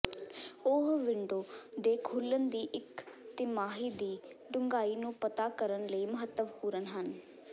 ਉਹ ਵਿੰਡੋ ਦੇ ਖੁੱਲਣ ਦੀ ਇੱਕ ਤਿਮਾਹੀ ਦੀ ਡੂੰਘਾਈ ਨੂੰ ਪਤਾ ਕਰਨ ਲਈ ਮਹੱਤਵਪੂਰਨ ਹਨ